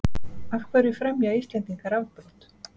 af hverju fremja íslendingar afbrot